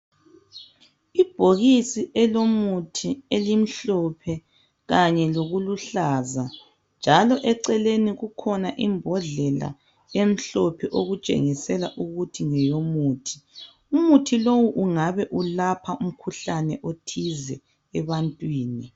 Ibhokisi elomuthi elimhlophe kanye lokuluhlaza, njalo eceleni kukhona imbodlela emhlophe. Okutshengisela ukuthi ngeyomuthi. Umuthi lowu ungabe ulapha umkhuhlane othize ebantwini.